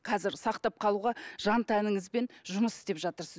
қазір сақтап қалуға жан тәніңізбен жұмыс істеп жатырсыз